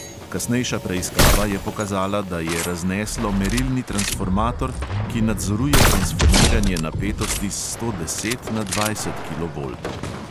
Kasnejša preiskava je pokazala, da je razneslo merilni transformator, ki nadzoruje transformiranje napetosti s sto deset na dvajset kilovoltov.